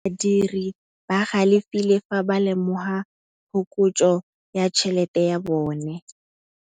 Badiri ba galefile fa ba lemoga phokotsô ya tšhelête ya bone.